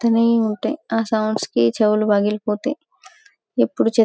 వస్తూనే ఉంటె ఆ సౌండ్స్ కి చెవులు మిగిలిపోతాయి ఎప్పిడు చె --